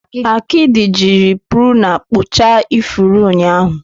Akidi jiri pruna kpụchaa ifuru ụnyahụ.